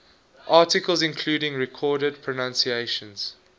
articles including recorded pronunciations